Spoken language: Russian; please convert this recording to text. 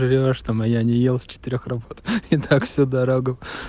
что моя не ел с четырёх работает и так всю дорогу